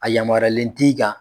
A yamaralen t'i kan.